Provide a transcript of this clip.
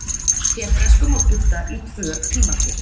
hebresku má skipta í tvö tímaskeið